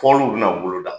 Fɔliw bɛna bolo da